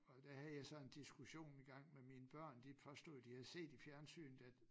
Og der havde jeg så en diskussion i gang med mine børn de påstod at de havde set i fjernsynet at